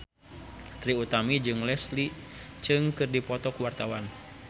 Trie Utami jeung Leslie Cheung keur dipoto ku wartawan